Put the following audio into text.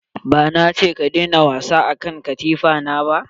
Ba na ce ka daina wasa a kan katifa na ba?